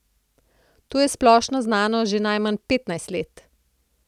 To je splošno znano že najmanj petnajst let.